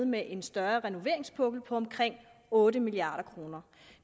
med en større renoveringspukkel på omkring otte milliard kroner